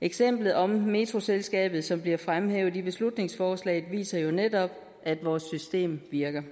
eksemplet om metroselskabet som bliver fremhævet i beslutningsforslaget viser jo netop at vores system virker